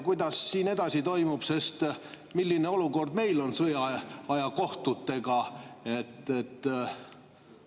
Kuidas see toimub, milline olukord meil on sõjaaja kohtutega?